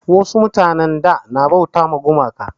Wasu mutanin da na bauta ma gumaka